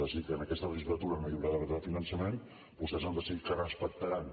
ha decidit que en aquesta legislatura no hi haurà nou finançament vostès han decidit que respectaran